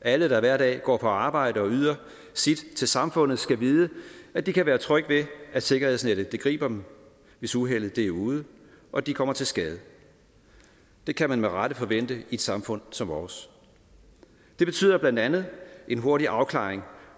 alle der hver dag går på arbejde og yder sit til samfundet skal vide at de kan være trygge ved at sikkerhedsnettet griber dem hvis uheldet er ude og de kommer til skade det kan man med rette forvente i et samfund som vores det betyder blandt andet en hurtig afklaring